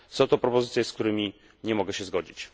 Są to propozycje, z którym nie mogę się zgodzić.